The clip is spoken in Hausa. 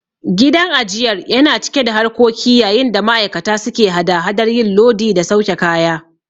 Gidan ajiyar yana cike da harkoki yayin da ma'aikata suke hada hadar yin lodi da sauke kaya.